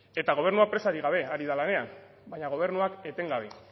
eta gobernuak presarik gabe ari da lanean baina gobernuak etengabe